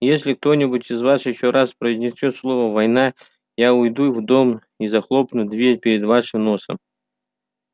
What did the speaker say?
если кто-нибудь из вас ещё раз произнесёт слово война я уйду в дом и захлопну дверь перед вашим носом